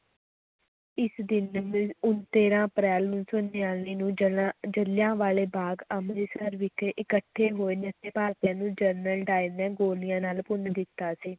ਇਸ ਦਿਨ ਤੇਰਾਂ ਅਪ੍ਰੈਲ ਉੱਨੀ ਸੌ ਨੜ੍ਹਿਨਵੇਂ ਨੂੰ ਜ਼ਿਲ੍ਹਿਆਂ ਵਾਲੇ ਬਾਗ਼ ਅੰਮ੍ਰਿਤਸਰ ਵਿਖੇ ਇਕੱਠੇ ਹੋਏ ਨਿਹੱਥੇ ਭਾਰਤੀਆਂ ਨੂੰ ਜਨਰਲ ਡਾਇਰ ਨੇ ਗੋਲੀਆਂ ਨਾਲ ਭੁੰਨ ਦਿੱਤਾ ਸੀ